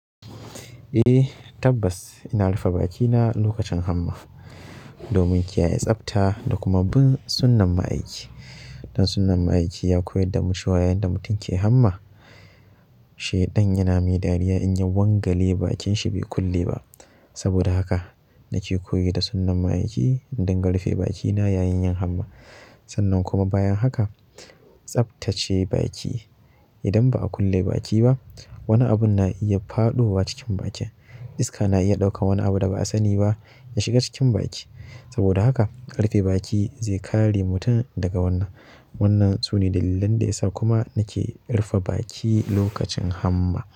Eh, tabbas ina rufe bakina lokacin hamma domin kiyaye tsabta da kuma bin sunnan ma'aikin. Dan sunnahn ma'aikin ya koyar da mu cewa yanda mutum ke hamma, shaiɗan yana mai dariya in ya wanga lebakinsa bai kulle ba. Saboda haka nake koyi da sunnan ma'aikin in dinga rufe bakina yayin yin hamma. Sannan kuma bayan haka tsabtace baki. Idan ba a kulle baki ba, wani abun na iya faɗowa cikin baki. Iska na iya ɗaukan wani abu da ba a sani ba ya shiga cikin baki. Saboda haka rufe baki zai kare mutum daga wannan. Wannan sune dalilin da yasa kuma nake rufe baki lokacin hamma.